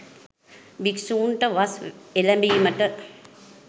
භික්ෂූන්ට වස් එළැඹීමට